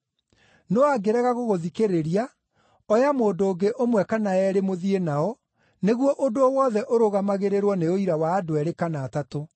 No angĩrega gũgũthikĩrĩria, oya mũndũ ũngĩ ũmwe kana eerĩ mũthiĩ nao, nĩguo ũndũ o wothe ũrũgamagĩrĩrwo nĩ ũira wa andũ eerĩ kana atatũ.